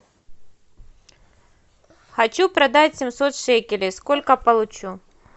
хочу продать семьсот шекелей сколько получу